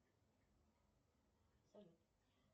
салют